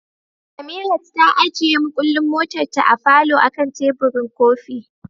Samirat ta ajiye mukullin motarta a falo akan teburin kofi.